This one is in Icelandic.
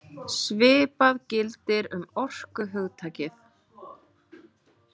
Svipað gildir um orkuhugtakið.